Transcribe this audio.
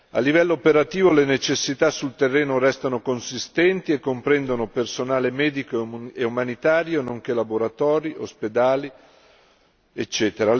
A livello operativo le necessità sul terreno restano consistenti e comprendono personale medico e umanitario, nonché laboratori, ospedali ecc.